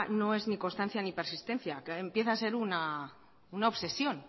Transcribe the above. no es ni constancia ni persistencia empieza a ser una obsesión